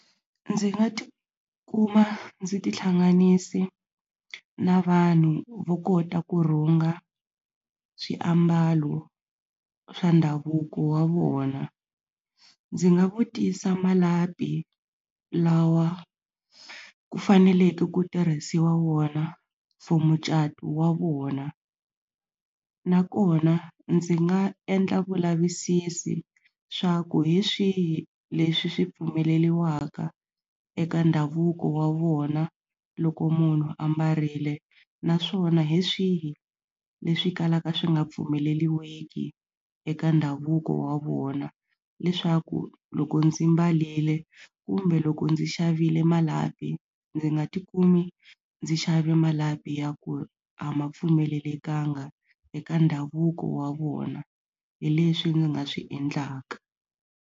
Ndzi nga tikuma ndzi tihlanganise na vanhu vo kota ku rhunga swiambalo swa ndhavuko wa vona ndzi nga vutisa malapi lawa ku faneleke ku tirhisiwa wona for mucato wa vona nakona ndzi nga endla vulavisisi swa ku hi swihi leswi swi pfumeleriwaka eka ndhavuko wa vona loko munhu a mbarile naswona hi swihi leswi kalaka swi nga pfumeleliki eka ndhavuko wa vona leswaku loko ndzi mbarile kumbe loko ndzi xavile malapi ndzi nga tikumi ndzi xave malapi ya ku a ma pfumelelekanga eka ndhavuko wa vona hi leswi ni nga swi endlaka.